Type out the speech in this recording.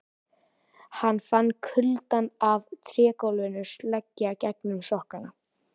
Hann fann kuldann af trégólfinu leggja gegnum sokkana.